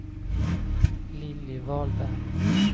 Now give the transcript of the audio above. Lilly Wahlberg